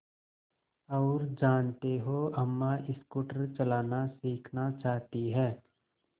और जानते हो अम्मा स्कूटर चलाना सीखना चाहती हैं